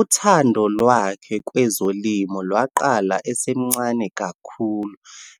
Uthando lwakhe kwezolimo lwaqala esemncane kakhulu